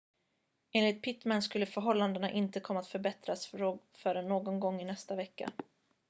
enligt pittman skulle förhållandena inte komma att förbättras förrän någon gång i nästa vecka